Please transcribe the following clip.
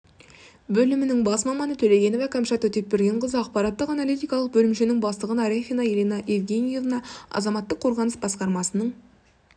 бөлімінің бас маманы төлегенова кәмшат өтепбергенқызы ақпараттық-аналитикалық бөлімшенің бастығы арефина елена евгеньевна азаматтық қорғаныс басқармасының